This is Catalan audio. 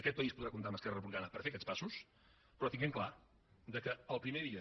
aquest país podrà comptar amb esquerra republicana per fer aquests passos però tenint clar que el primer dia